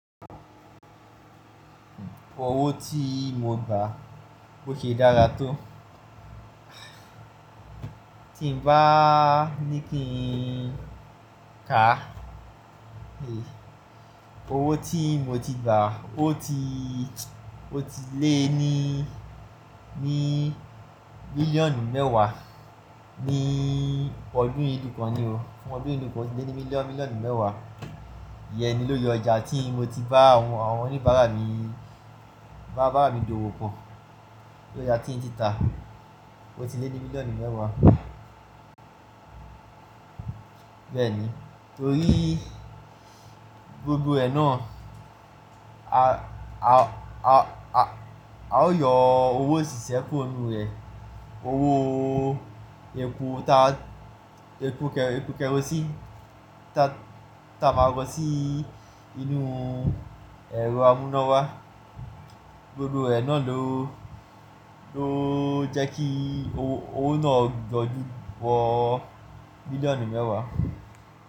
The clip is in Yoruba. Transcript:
Owó tí mo gbà bó ṣe dára tó. Tí n bá ní kí n ká, owó tí mo ti gbà ó ti, ó ti lé ní, ní mílíọ̀nù mẹ́wàá ní ọdún yìí nìkan ni o. Ọdún yìí nìkan ó ti lé ní mílíọ̀nù mẹ́wàá. Iye ni lórí ọjà tí mo ti bá àwọn oníbàárà mi, bá bàbá mi dòwò pọ̀. Ójá tí n ti ta. Ó ti lé ní bílíọ̀nù mẹ́wàá. Bẹ́ẹ̀ni, torí gbogbo ẹ̀ náà a, a, a, a ó yọ owó osísẹ́ kúrò nínú rẹ̀. Owó epo ta, epo kẹrosíìnì ta, ta màrọ̀ sí inú ẹ̀rọ amúnáwá. Gbogbo ẹ̀ náà ló, ló jẹ́ kí owó náà gbójú bọ́ mílíọ̀nù mẹ́wàá.